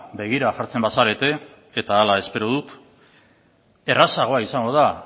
begira jartzen bazarete eta hala espero dut errazagoa izango da